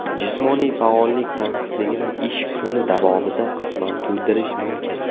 Jismoniy faollik tanqisligini ish kuni davomida qisman to‘ldirish mumkin.